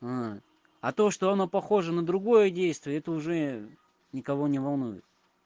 вот а то что оно похоже на другое действие это уже никого не волнует